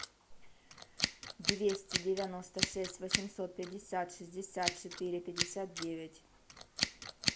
двести девяносто шесть восемьсот пятьдесят шестьдесят четыре пятьдесят девять